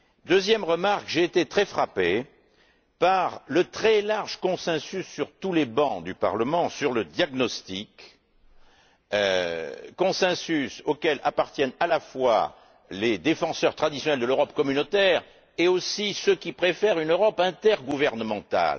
Deuxième remarque, j'ai été très frappé par le très large consensus, sur tous les bancs du Parlement, sur le diagnostic, consensus auquel appartiennent, à la fois, les défenseurs traditionnels de l'Europe communautaire et aussi ceux qui préfèrent une Europe intergouvernementale.